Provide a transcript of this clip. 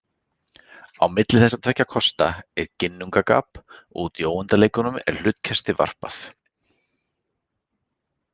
Á milli þessara tveggja kosta er ginnungagap og úti í óendanleikanum er hlutkesti varpað.